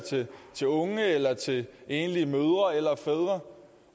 til unge eller til enlige mødre eller fædre